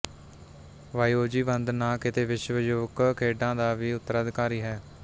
ਵਾਈਓਜੀ ਬੰਦ ਨਾ ਕੀਤੇ ਵਿਸ਼ਵ ਯੁਵਕ ਖੇਡਾਂ ਦਾ ਵੀ ਉਤਰਾਧਿਕਾਰੀ ਹੈ